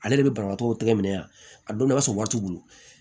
Ale de bɛ banabaatɔ tɛgɛ minɛ yan a don a sɔrɔ waati bolo